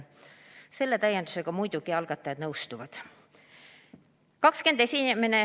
Selle täiendusega muidugi algatajad nõustuvad.